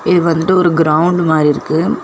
இது வந்துட்டு ஒரு கிரௌண்ட் மாரி இருக்கு.